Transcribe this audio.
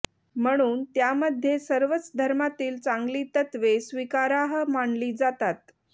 म्हणून त्यामध्ये सर्वच धर्मातील चांगली तत्त्वे स्वीकारार्ह मानली जातात